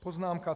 Poznámka: